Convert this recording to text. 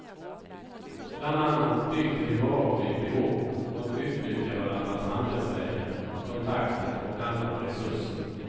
Bland annat byter de varor vid behov och utnyttjar varandras handelsvägar, kontakter och andra resurser.